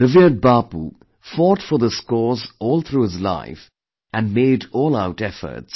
Revered Bapu fought for this cause all through his life and made all out efforts